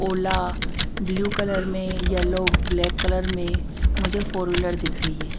ओला blue colour में yellow black colour में मुझे फोर व्हीलर दिख रही है।